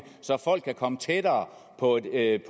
så folk kan komme tættere på et